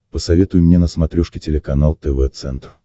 посоветуй мне на смотрешке телеканал тв центр